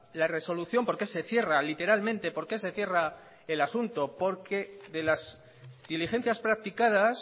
la resolución porqué se cierra literalmente porqué se cierra el asunto porque de las diligencias practicadas